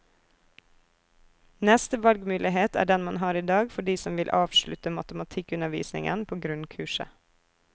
Neste valgmulighet er den man har i dag for de som vil avslutte matematikkundervisningen på grunnkurset.